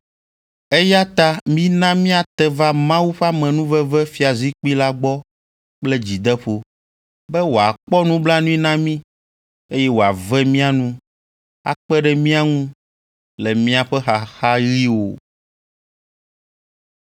Eya ta mina míate va Mawu ƒe amenuveve fiazikpui la gbɔ kple dzideƒo, be wòakpɔ nublanui na mí, eye wòave mía nu akpe ɖe mía ŋu le míaƒe xaxaɣiwo.